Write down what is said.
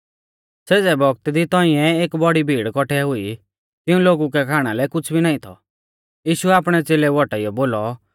सेज़ै बौगतै दी तौंइऐ एक बौड़ी भीड़ कौठै हुई तिऊं लोगु कै खाणा लै कुछ़ भी नाईं थौ यीशुऐ आपणै च़ेलेऊ औटाइयौ बोलौ